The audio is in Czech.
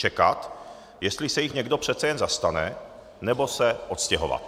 Čekat, jestli se jich někdo přece jen zastane, nebo se odstěhovat.